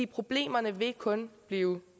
problemerne vil kun blive